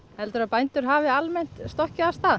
heldurðu að bændur hafi almennt stokkið af stað